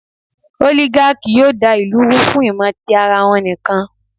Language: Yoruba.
Ólígákì yóò da ìlù rú fún ìmò tí ara wọn nìkan.